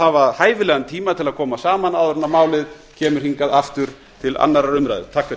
hafa hæfilegan tíma til að koma saman áður en málið kemur hingað aftur til annarrar umræðu